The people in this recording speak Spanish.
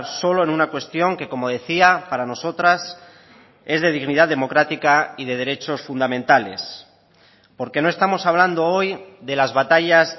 solo en una cuestión que como decía para nosotras es de dignidad democrática y de derechos fundamentales porque no estamos hablando hoy de las batallas